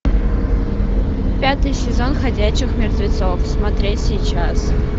пятый сезон ходячих мертвецов смотреть сейчас